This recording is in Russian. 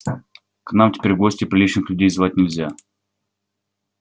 к нам теперь в гости приличных людей звать нельзя